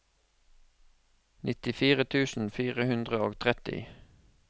nittifire tusen fire hundre og tretti